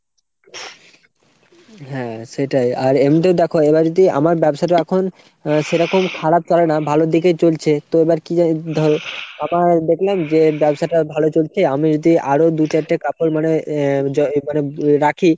হ্যাঁ সেটাই। আর এমনিতেও দ্যাখো এবার যদি আমার ব্যবসাটা এখন সেরকম খারাপ কারো নয় ভালোর দিকেই চলছে তো এবার কী জানি ধরো আবার দেখলাম ব্যবসাটা ভালো চলছে আমি যদি আরো দু-চারটে কাপড় মানে এ মানে রাখি